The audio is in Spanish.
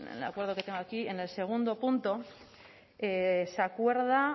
acuerdo que tengo aquí en el segundo punto se acuerda